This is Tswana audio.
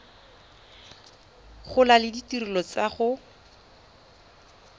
gola le ditirelo tsa go